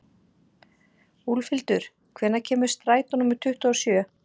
Voru þær reglur raktar hér að framan og vísast til þeirra.